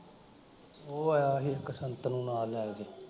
ਉਹ ਆਇਆ ਸੀ ਇੱਕ ਸੰਤ ਨੂੰ ਨਾਲ ਲੈ ਕੇ।